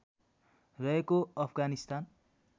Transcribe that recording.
रहेको अफगानिस्तान